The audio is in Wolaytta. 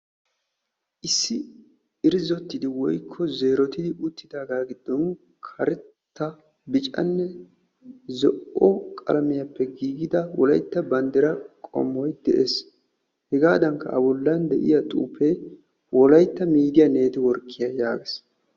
Issi irzottidi woykko zeerottidi uttidaagaa giddon karetta biccanne zo'o qalamiyaappe giigidda wolaytta banddira qommoy de'ees. hegaadankka a bollan de'iyaa xuufee wolaytta miidiyaa netiworkkiyaa yaagees.